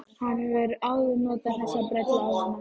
Hann hefur áður notað þessa brellu á hana.